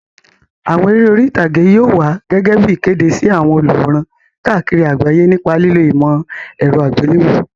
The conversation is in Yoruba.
Àwọn eré orí ìtàgé yóò wá gẹ́gẹ́ bí ìkéde sí àwọn olùwòran káàkiri àgbáyé nípa lílo ìmọ̀ ẹ̀rọ àgbéléwò.